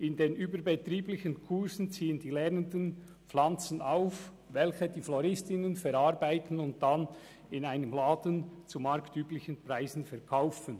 In den überbetrieblichen Kursen ziehen die Lernenden Pflanzen auf, welche die Floristinnen verarbeiten und dann in einem Laden zu marktüblichen Preisen verkaufen.